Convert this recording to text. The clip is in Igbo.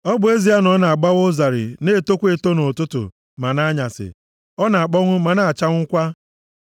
ọ bụ ezie na ọ na-agbawa ụzarị na-etokwa eto nʼụtụtụ, ma nʼanyasị, ọ na-akpọnwụ ma-achanwụkwaa.